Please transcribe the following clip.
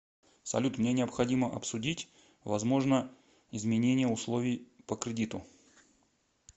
салют мне необходимо обсудить возможно изменения условий по кредиту